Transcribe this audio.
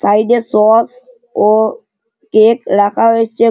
Side -এ sauce ও cake রাখা হয়েছে।